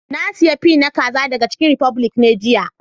Na siya fi na kazan daga chicken republic be jiya.